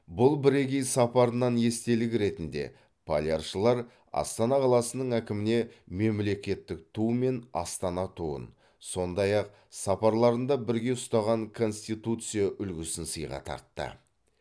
бұл бірегей сапарынан естелік ретінде поляршылар астана қаласының әкіміне мемлекеттік ту мен астана туын сондай ақ сапарларында бірге ұстаған конституция үлгісін сыйға тартты